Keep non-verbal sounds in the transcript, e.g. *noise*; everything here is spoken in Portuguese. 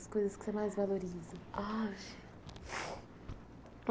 As coisas que você mais valoriza? Aff *sniffs*